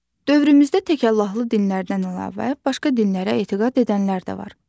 Dövrümüzdə təkallahlı dinlərdən əlavə başqa dinlərə etiqad edənlər də var.